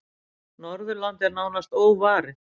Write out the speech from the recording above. Norðurland er nánast óvarið.